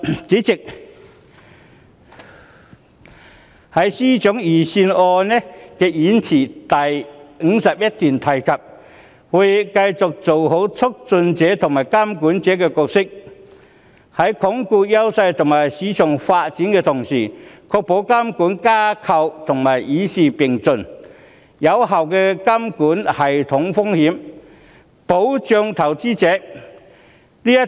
主席，司長的預算案演辭第51段提及："我們會繼續做好促進者和監管者角色，在鞏固優勢及發展市場的同時，確保監管框架與時並進、有效管控系統性風險，保障投資者"。